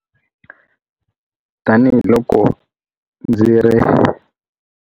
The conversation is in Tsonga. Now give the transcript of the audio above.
Tanihi loko ndzi ri.